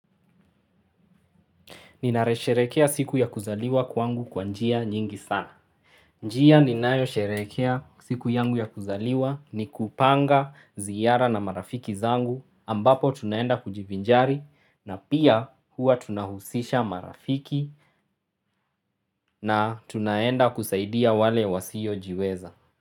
Ninaresherekea siku ya kuzaliwa kwangu kwa njia nyingi sana. Njia ninayo sherehekea siku yangu ya kuzaliwa ni kupanga ziara na marafiki zangu ambapo tunaenda kujivinjari na pia hua tunahusisha marafiki na tunaenda kusaidia wale wasiojiweza.